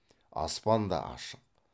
аспан да ашық